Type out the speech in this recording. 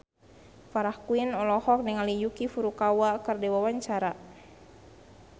Farah Quinn olohok ningali Yuki Furukawa keur diwawancara